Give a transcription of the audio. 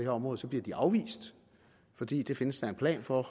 område så bliver de afvist fordi der findes en plan for